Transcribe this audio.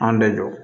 An bɛ jɔ